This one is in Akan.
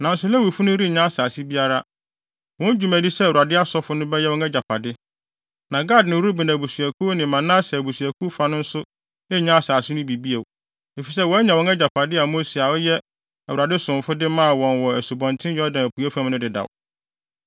Nanso Lewifo no rennya asase biara. Wɔn dwumadi sɛ Awurade asɔfo no bɛyɛ wɔn agyapade. Na Gad ne Ruben mmusuakuw ne Manase abusuakuw fa no nso nnya asase no bi bio, efisɛ wɔanya wɔn agyapade a Mose a ɔyɛ Awurade somfo de maa wɔn wɔ Asubɔnten Yordan apuei fam no dedaw.”